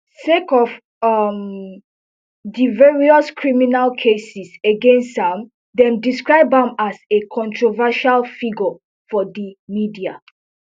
sake of um di various criminal cases against am dem describe am as a controversial figure for di media